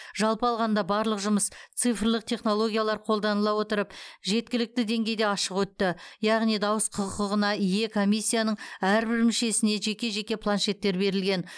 жалпы алғанда барлық жұмыс цифрлық технологиялар қолданыла отырып жеткілікті деңгейде ашық өтті яғни дауыс құқығына ие комиссияның әрбір мүшесіне жеке жеке планшеттер берілген